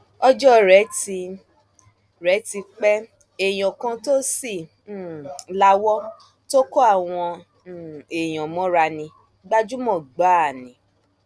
ọjọ rẹ ti rẹ ti pé èèyàn kan tó sì um lawọ tó kó àwọn um èèyàn mọra ní gbajúmọ gbáà ni